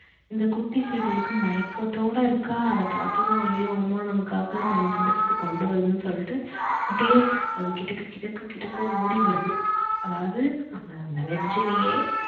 இந்த குட்டி seegal க்கு மயக்கத்தோடு இருக்கா அத பார்த்ததும் அய்யோ அம்மா நமக்காக நமக்கு பிடிச்சது கொண்டு வருதுன்னு சொல்லிட்டு அப்படியே அது கிட்டக்க கிட்டக்க கிட்டக்க ஓடி வருது அதாவது அந்த ledge லையே